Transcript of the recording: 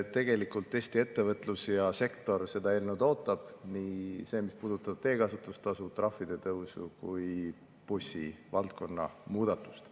Tegelikult Eesti ettevõtlussektor seda eelnõu ootab, nii seda, mis puudutab teekasutustasu, trahvide tõusu kui ka bussivaldkonna muudatust.